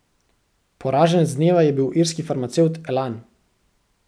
Poraženec dneva je bil irski farmacevt Elan.